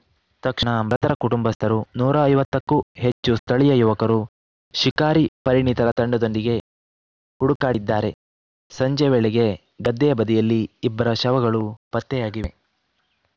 ತಕ್ಷಣ ಮೃತರ ಕುಟುಂಬಸ್ಥರು ನೂರ ಐವತ್ತಕ್ಕೂ ಹೆಚ್ಚು ಸ್ಥಳೀಯ ಯುವಕರು ಶಿಕಾರಿ ಪರಿಣಿತರ ತಂಡದೊಂದಿಗೆ ಹುಡುಕಾಡಿದ್ದಾರೆ ಸಂಜೆ ವೇಳೆಗೆ ಗದ್ದೆಯ ಬದಿಯಲ್ಲಿ ಇಬ್ಬರ ಶವಗಳು ಪತ್ತೆಯಾಗಿವೆ